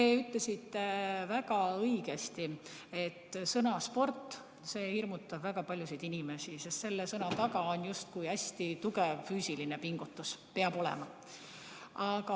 Te ütlesite väga õigesti, et sõna "sport" hirmutab väga paljusid inimesi, sest selle sõna taga on justkui hästi tugev füüsiline pingutus, see peabki olema.